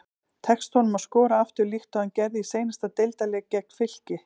Tekst honum að skora aftur líkt og hann gerði í seinasta deildarleik gegn Fylki?